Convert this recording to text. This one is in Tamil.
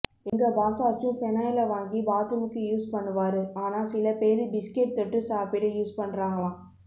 எங்க பாஸாச்சும் ஃப்னாயில வாங்கி பாத்ரூம்க்கு யூஸ் பண்ணுவாரு ஆனா சில பேரு பிஸ்கட் தொட்டு சாப்பிட யூஸ் பண்றாங்களாம்